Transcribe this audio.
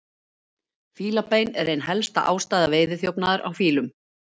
Fílabein er ein helsta ástæða veiðiþjófnaðar á fílum.